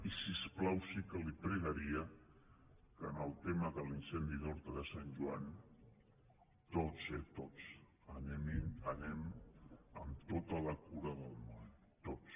i si us plau sí que li pregaria que en el tema de l’incendi d’horta de sant joan tots eh tots anem amb tota la cura del món tots